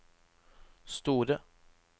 store